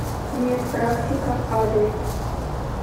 медпрактика адрес